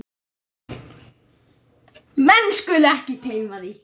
Menn skulu ekki gleyma því.